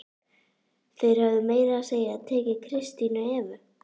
Þeir höfðu meira að segja tekið Kristínu Evu!